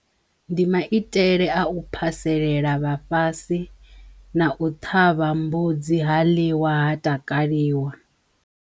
Ndi maitele a u phaselela vhafhasi na u ṱhavha mbudzi ha ḽiwa ha takaliwa.